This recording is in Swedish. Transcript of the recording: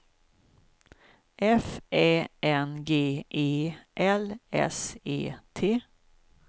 F Ä N G E L S E T